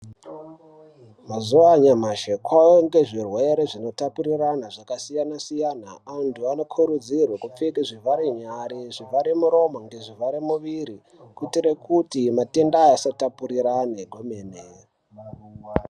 Mazuva anyamashi kwavanikwe zvirwere zvinotapurirana zvakasiyana-siyana. Antu anokurudzirwe kupfeke zvivhare nyara zvivhare muromo ngezvivhare mwiri. Kuitire kuti matenda asatapurirane kwemene.